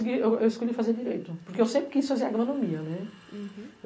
Eu escolhi fazer direito, porque eu sempre quis fazer agronomia.